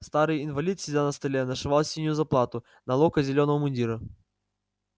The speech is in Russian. старый инвалид сидя на столе нашивал синюю заплату на локоть зелёного мундира